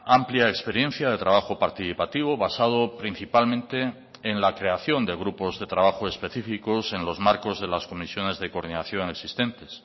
amplia experiencia de trabajo participativo basado principalmente en la creación de grupos de trabajo específicos en los marcos de las comisiones de coordinación existentes